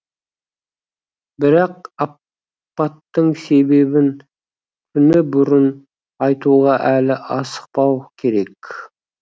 бірақ апаттың себебін күні бұрын айтуға әлі асықпау керек